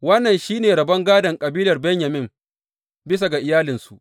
Wannan shi ne rabon gādon kabilar Benyamin bisa ga iyalansu.